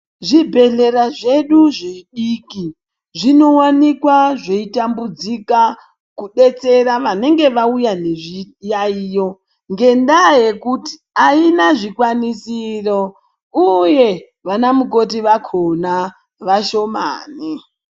Zvibhehlera zvedu zvidiki zvinowanikwa zveitambudzika kudetsera vanenge vauya nezviyaiyo ngendaa yekuti haina zvikwanisiro uye vanamukoti vakona vashomani.